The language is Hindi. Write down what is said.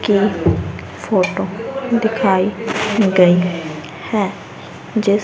की फोटो दिखाई गई है जिस--